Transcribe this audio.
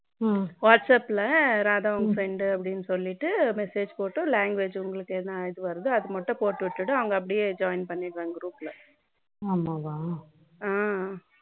whatsapp Radha அவங்க friend னு சொல்லிட்டு message போட்டுட்டு language உங்களுக்கு என்னது வருமோ அதை மட்டும் போட்டுட்டு அவங்க அப்படியே joint பண்ணிடுவாங்க group ல